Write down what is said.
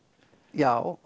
já